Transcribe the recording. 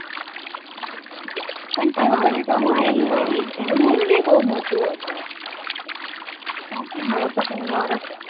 અને તે વખતે તો મારે અહીંયા ઘરે મોટો હતો હવે તો વરસ વર્ષ